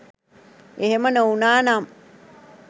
එහෙම නොවුණා නම්